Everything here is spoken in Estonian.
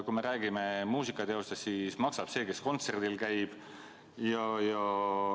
Kui me räägime muusikateostest, siis maksab see, kes kontserdil käib.